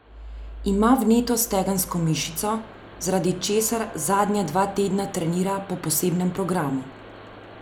Ima vneto stegensko mišico, zaradi česar zadnja dva tedna trenira po posebnem programu.